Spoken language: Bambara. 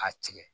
A tigɛ